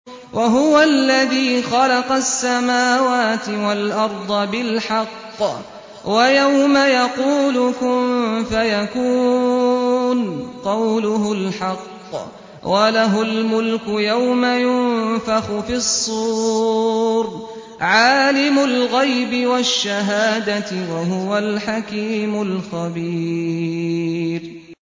وَهُوَ الَّذِي خَلَقَ السَّمَاوَاتِ وَالْأَرْضَ بِالْحَقِّ ۖ وَيَوْمَ يَقُولُ كُن فَيَكُونُ ۚ قَوْلُهُ الْحَقُّ ۚ وَلَهُ الْمُلْكُ يَوْمَ يُنفَخُ فِي الصُّورِ ۚ عَالِمُ الْغَيْبِ وَالشَّهَادَةِ ۚ وَهُوَ الْحَكِيمُ الْخَبِيرُ